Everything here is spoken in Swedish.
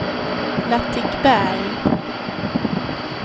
Latikberg